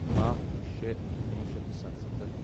باہ شےٚ کُنوُہ شیٚتھ تہٕ سَتسَتتھ